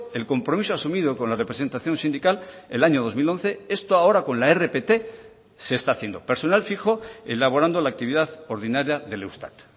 el compromiso asumido con la representación sindical el año dos mil once esto ahora con la rpt se está haciendo personal fijo elaborando la actividad ordinaria del eustat